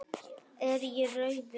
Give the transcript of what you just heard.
Er ég rauður?